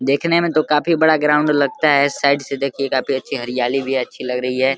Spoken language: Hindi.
देखने में तो काफी बड़ा ग्राउंड लगता है। साइड से देखिए काफी अच्छी हरियाली भी है अच्छी लग रही है।